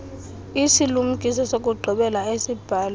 isilumkiso sokugqibela esibhalwe